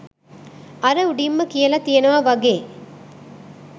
අර උඩින්ම කියලා තියෙනවා වගේ